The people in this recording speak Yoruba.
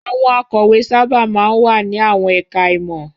Àwọn akọ̀wé sábà máa ń wà ní àwọn ẹ̀ka-ìmọ̀.